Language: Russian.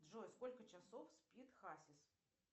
джой сколько часов спит хасис